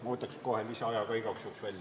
Ma võtaks kohe lisaaja ka igaks juhuks välja.